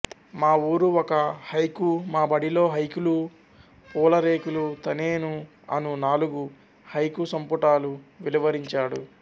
మా ఊరు ఒక హైకూ మా బడిలో హైకూలు పూల రేకులు తనేను అను నాలుగు హైకూ సంపుటాలు వెలువరించాడు